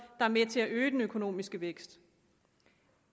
er med til at øge den økonomiske vækst